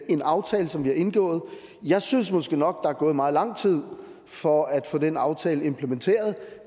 en aftale som vi har indgået jeg synes måske nok at der er gået meget lang tid for at få den aftale implementeret